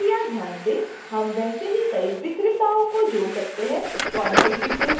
कृपया ध्यान दें: हम वैसे ही कई विक्रेताओं को जोड़ सकते हैं